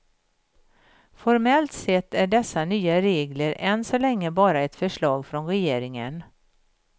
Formellt sett är dessa nya regler än så länge bara ett förslag från regeringen.